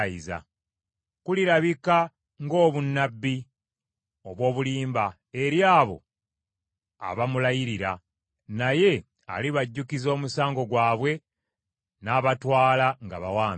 Kulirabika ng’obunnabbi obw’obulimba eri abo aba mulayirira, naye alibajjukiza omusango gwabwe n’abatwala nga bawambe.